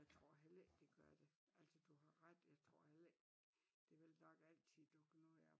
Jeg tror heller ikke det gør det altså du har ret jeg tror heller ikke der vil nok altid dukke noget op